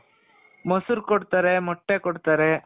ಮೊಸರು ಕೊಡ್ತಾರೆ, ಮೊಟ್ಟೆ ಕೊಡ್ತಾರೆ.